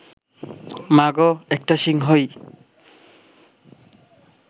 মাগো, একটা সিংহ-ই